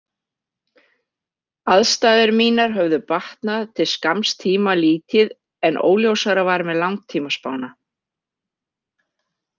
Aðstæður mínar höfðu batnað til skamms tíma lítið en óljósara var með langtímaspána.